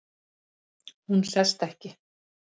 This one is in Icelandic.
Hún sest ekki.